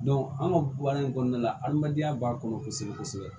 an ka baara in kɔnɔna la adamadenya b'a kɔnɔ kosɛbɛ kosɛbɛ